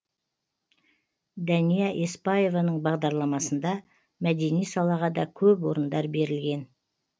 дәния еспаеваның бағарламасында мәдени салаға да көп орындар берілген